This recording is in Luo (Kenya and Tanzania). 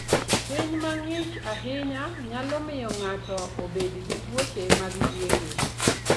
Piny mang'ich ahinya nyalo miyo ng'ato obed gi tuoche mag yueyo.